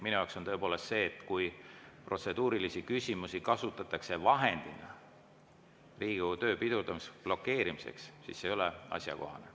Minu arvates tõepoolest, kui protseduurilisi küsimusi kasutatakse vahendina Riigikogu töö pidurdamiseks, blokeerimiseks, siis see ei ole asjakohane.